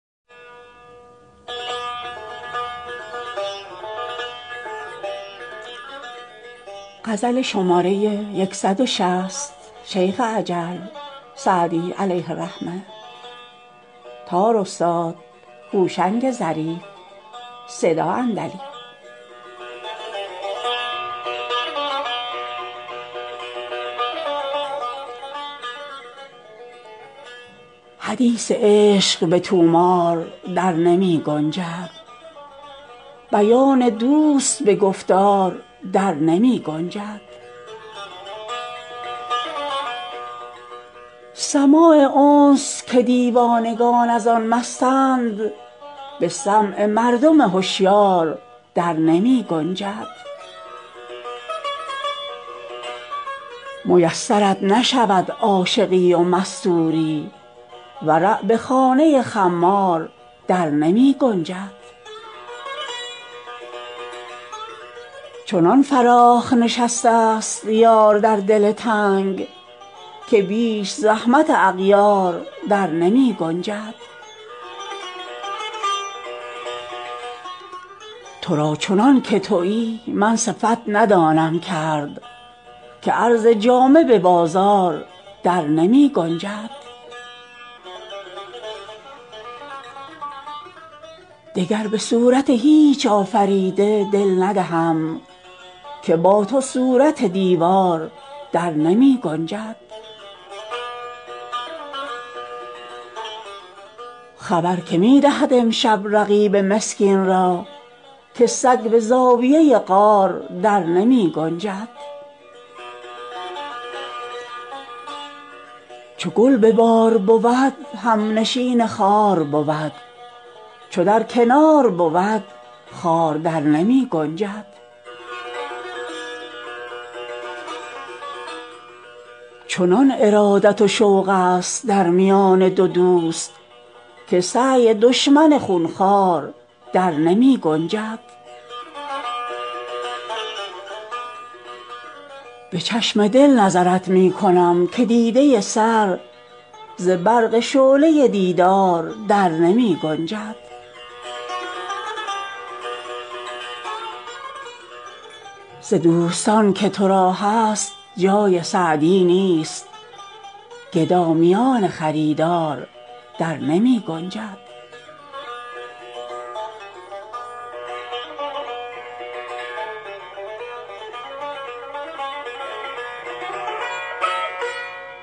حدیث عشق به طومار در نمی گنجد بیان دوست به گفتار در نمی گنجد سماع انس که دیوانگان از آن مستند به سمع مردم هشیار در نمی گنجد میسرت نشود عاشقی و مستوری ورع به خانه خمار در نمی گنجد چنان فراخ نشسته ست یار در دل تنگ که بیش زحمت اغیار در نمی گنجد تو را چنان که تویی من صفت ندانم کرد که عرض جامه به بازار در نمی گنجد دگر به صورت هیچ آفریده دل ندهم که با تو صورت دیوار در نمی گنجد خبر که می دهد امشب رقیب مسکین را که سگ به زاویه غار در نمی گنجد چو گل به بار بود همنشین خار بود چو در کنار بود خار در نمی گنجد چنان ارادت و شوق ست در میان دو دوست که سعی دشمن خون خوار در نمی گنجد به چشم دل نظرت می کنم که دیده سر ز برق شعله دیدار در نمی گنجد ز دوستان که تو را هست جای سعدی نیست گدا میان خریدار در نمی گنجد